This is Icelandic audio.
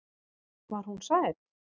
Var hún sæt?